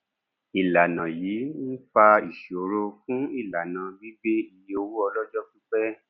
ìlànà yìí ń fa ìṣòro fún ìlànà gbígbé iye owó ọlọjọ pípẹ